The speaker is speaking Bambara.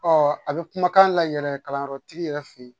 Ɔ a bɛ kumakan layɛlɛn kalanyɔrɔtigi yɛrɛ fɛ yen